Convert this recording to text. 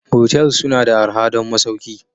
Motels suna da arha don masauki